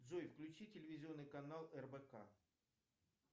джой включи телевизионный канал рбк